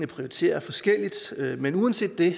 prioriteres forskelligt men uanset det